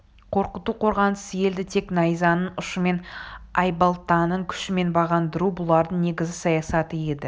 қорқыту қорғансыз елді тек найзаның ұшымен айбалтаның күшімен бағындыру бұлардың негізгі саясаты еді